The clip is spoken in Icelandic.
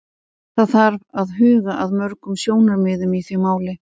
Það þarf að huga að mörgum sjónarmiðum í því máli.